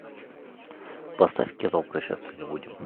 поставь кино прощаться не будем